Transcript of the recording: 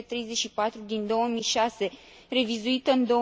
334 din 2006, revizuită în